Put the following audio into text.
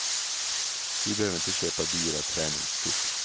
Du behöver inte köpa dyra träningskort.